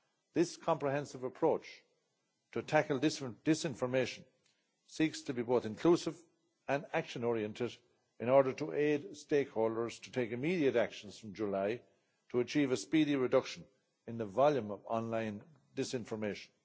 This comprehensive approach to tackle disinformation seeks to be both inclusive and action oriented in order to aid stakeholders to take immediate actions from July, to achieve a speedy reduction in the volume of online disinformation.